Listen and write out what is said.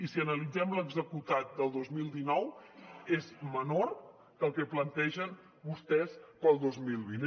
i si analitzem l’executat del dos mil dinou és menor que el que plantegen vostès per al dos mil vint